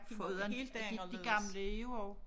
Foruden de de gamle er jo også